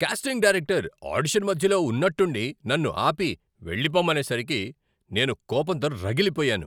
Casting director audition మధ్యలో ఉన్నట్టుండి నన్ను ఆపి, వెళ్ళిపోమ్మనేసరికి నేను కోపంతో రగిలిపోయాను.